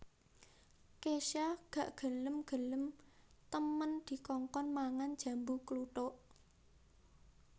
Kesha gak gelem gelem temen dikongkon mangan jambu kluthuk